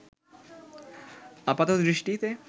আপাত দৃষ্টিতে